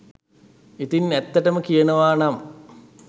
ඉතින් ඇත්තටම කියනවනම්